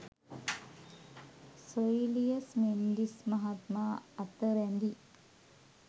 සොයිලියස් මෙන්ඩිස් මහත්මා අත රැඳි